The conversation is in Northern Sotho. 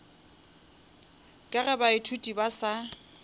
ka ge baithuti ba sa